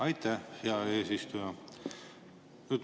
Aitäh, hea eesistuja!